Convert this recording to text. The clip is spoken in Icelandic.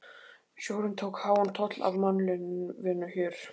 Sjórinn tók háan toll af mannlífinu hér.